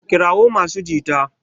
kirawo masu jita!